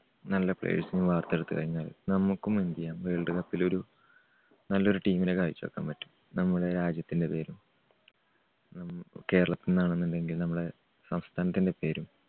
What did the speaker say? നല്ല players നെ വാർത്തെടുത്തുകഴിഞ്ഞാൽ നമുക്കും എന്തുചെയ്യാം വേൾഡ് കപ്പിലൊരു നല്ലൊരു team നെ കാഴ്ച്ച വെക്കാൻ പറ്റും. നമ്മുടെ രാജ്യത്തിന്റെ പേരിൽ. നമ്മുക്ക് കേരളത്തിലാന്നെന്നുണ്ടെങ്കിൽ നമ്മുടെ സംസ്ഥാനത്തിന്റെ പേരും